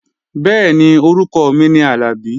Bẹ́ẹ̀ni, orúkọ mi ni Àlàbí